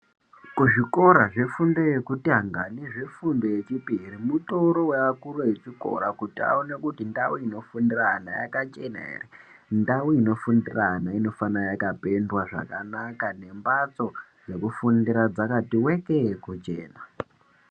Kuzvikora zvefundo yekutanga zvefundo yekutanga nezvefundo yechipiri mutori yaakuru echikora kuti aone kuti ndau iNofundire ana yakachena ere ndau inofundire ana inofanire kunge yakapendwa zvakanaka nembatso dzekufundira dzakati weke kuchena.